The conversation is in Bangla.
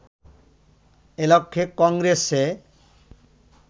এ লক্ষ্যে কংগ্রেসে